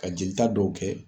Ka jelita dɔw kɛ